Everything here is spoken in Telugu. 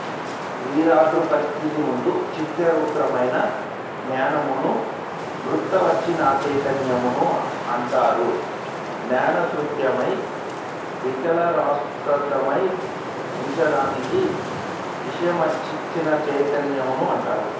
విరాడ్రూపస్థితియందు చిత్స్వరూపమైన జ్ఞానమును వృత్యవచ్ఛిన్యచైతన్యము అంటారు జ్ఞానశూన్యమై వికారాస్పదమై ఉండుదానిని విషయావచ్ఛిన్నచైతన్యము అంటారు